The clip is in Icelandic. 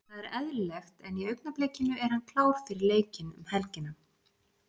Það er eðlilegt en í augnablikinu er hann klár fyrir leikinn um helgina.